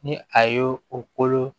Ni a y'o o kolo